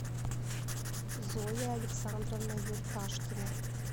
зоя александровна юрташкина